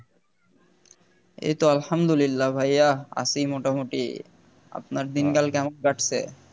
এই তো আলহামদুলিল্লাহ ভাইয়া আছি মোটামুটি আপনার দিনকাল কেমন কাটছে